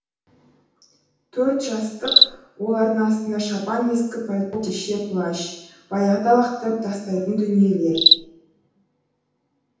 төрт жастық олардың астында шапан ескі пальто күртеше плащ баяғыда лақтырып тастайтын дүниелер